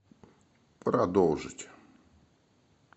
продолжить